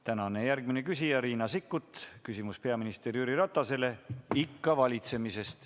Tänane järgmine küsija on Riina Sikkut, küsimus on peaminister Jüri Ratasele ikka valitsemisest.